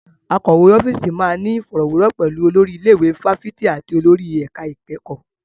Akọ̀wé ọ́fíìsì máa ní ìfọ̀rọ̀wérọ̀ pẹ̀lú olórí ilé ìwé fáfitì àti olórí ẹ̀ka ìkẹ́kọ̀ọ́.